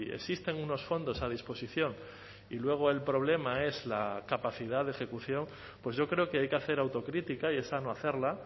existen unos fondos a disposición y luego el problema es la capacidad de ejecución pues yo creo que hay que hacer autocrítica y es sano hacerla